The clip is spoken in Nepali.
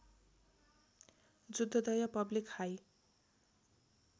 Juddhodaya public high